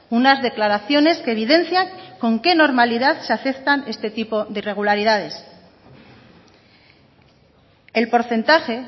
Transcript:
unas declaraciones que evidencian con qué normalidad se aceptan este tipo de irregularidades el porcentaje